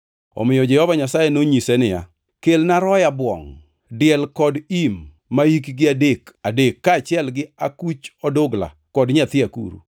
Omiyo Jehova Nyasaye nonyise niya, “Kelna roya bwongʼ, diel kod im mahikgi adek, adek kaachiel gi akuch odugla kod nyathi akuru.”